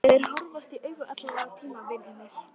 Og þeir horfast í augu allan tímann vinirnir.